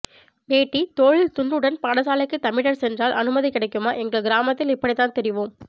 வேட்டி தோளில் துண்டுடன் பாடசாலைக்கு தமிழர் சென்றால் அனுமதி கிடைக்குமா எங்கள் கிராமத்தில் இப்படித்தான் திரிவோம்